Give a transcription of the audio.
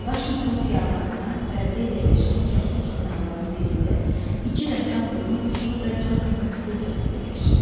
Vaşinqton xiyabanından qərbdə yerləşən kərpic binaların birində iki rəssam qızının, Siyu və Consinin studiyası yerləşirdi.